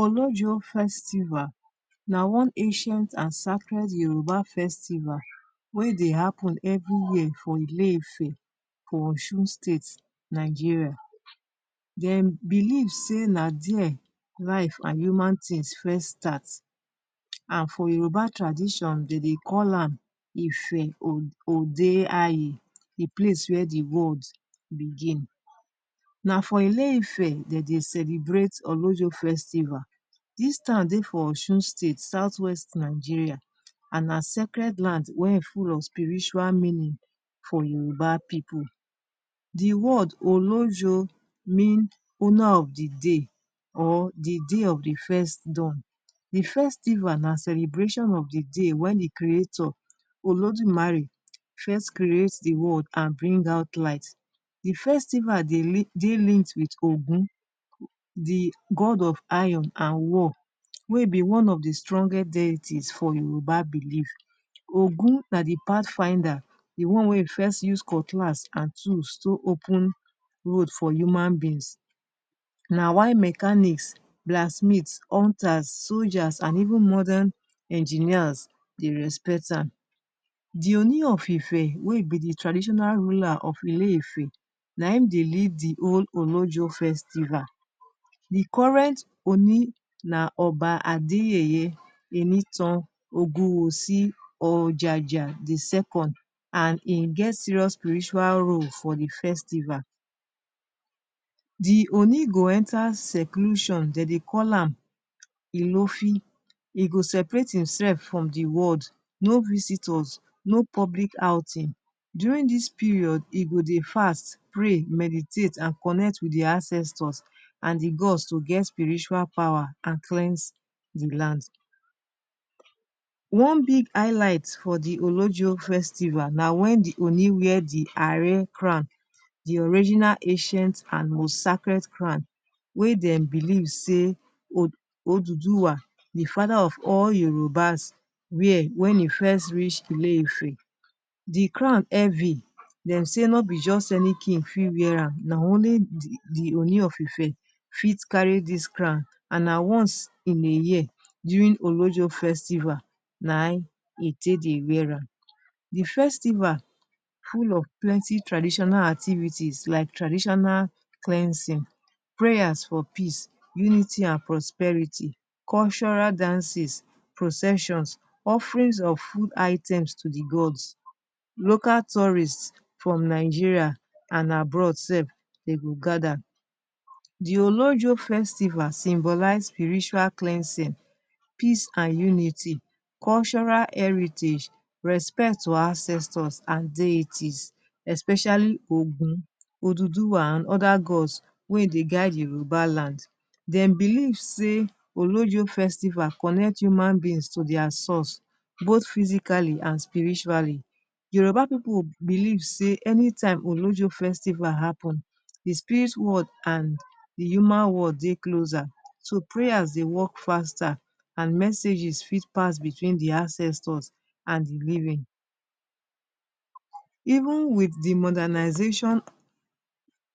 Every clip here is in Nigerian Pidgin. Olojo festival na one ancient and sacred Yoruba festival wey dey happen every year for Ile-Ife for Osun State, Nigeria. Dem believe sey na there life an human tins first start, an for Yoruba tradition, de deh call am Ife Ode Aye the place where the world begin. Na for Ile-Ife de dey celebrate Olojo festival. Dis town dey for Osun State, South-West Nigeria, an na sacred land wey full of spiritual meaning for Yoruba pipu. The word “Olojo” mean ‘owner of the day’ or ‘the day of the first dawn’. The festival na celebration of the day wen the creator, Olodumare, first create the world and bring out light. The festival dey dey linked with Ogun the god of iron an war wey be one of the strongest deity for Yoruba belief. Ogun na the pathfinder, the one wey first use cutlass and tools take open road for human beings. Na why mechanics, blacksmiths, hunters, soldiers, and even modern engineers dey respect am. The Ooni of Ife wey be the traditional ruler of Ile-Ife na im dey lead the whole Olojo festival. The current Ooni na Oba Adeyeye Enitan Ogunwusi Ojaja the second, an hin get serious spiritual role for the festival. The Ooni go enter seclusion. De dey call am Ilofi. E go separate hin sef from the world, no visitors, no public outing. During dis period, e go dey fast, pray, meditate and connect with the ancestors and the gods to get spiritual power, and cleanse the land. One big highlight for the Olojo festival na wen the Ooni wear the Are crown the original ancient and most sacred crown wey dem believe sey Oduduwa, the father of all Yorubas, wear wen e first reach Ile-Ife. The crown heavy. Dem say no be any juz any king fit wear am. Na only the Ooni of Ife fit carry dis crown, an na once in a year, during Olojo festival, na ein e take dey wear am. The festival full of plenty traditional activities like traditional cleansing, prayers for peace, unity, and prosperity, cultural dances, processions, offerings of food items to the gods. Local tourists from Nigeria and abroad sef de go gather. The Olojo festival symbolise spiritual cleansing, peace, unity, cultural heritage, respect to ancestors an deities, especially Ogun, Oduduwa, and other gods wey dey guide Yoruba land. Dem believe sey Olojo festival connect human beings to dia source both physically and spiritually. Yoruba pipu believe sey any time Olojo festival happen, the spirit world and the human world dey closer, so prayers dey work faster, and messages fit pass between the ancestors and the living. Even with the modernisation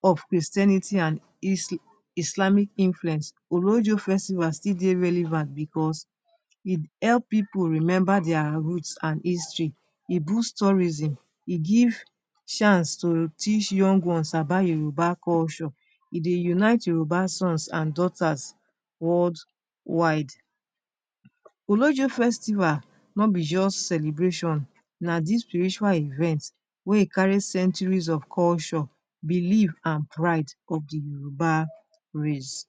of Christianity and Islamic influence, Olojo festival still dey relevant becos e help pipu remember dia root and history, e boost tourism, e give chance to teach young ones about Yoruba culture, e dey unite Yoruba sons an daughters worldwide. Olojo festival no be juz celebration, na dis spiritual event wey carry centuries of culture, belief, and pride of the Yoruba race.